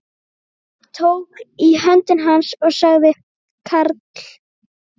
Tók í hönd hans og sagði Karl